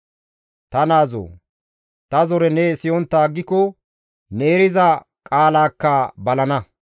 Ta naazoo! Ta zore ne siyontta aggiko, ne eriza qaalaakka balana.